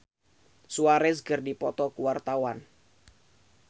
Rizky Febian jeung Luis Suarez keur dipoto ku wartawan